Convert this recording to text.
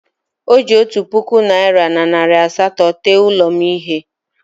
O ji otu puku naịra na nari asatọ tee ụlọ m ihe.